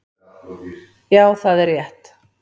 Já, það er rétt